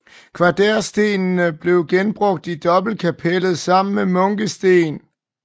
Kvaderstenene blev genbrugt i dobbeltkapellet sammen med munkesten